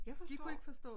Jeg forstod